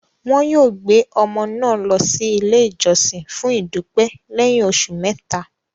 Wọn yóò gbé ọmọ náà lọ sí ilé ìjọsìn fún ìdúpẹ́ lẹ́yìn oṣù mẹ́ta.